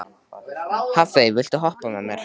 Hafey, viltu hoppa með mér?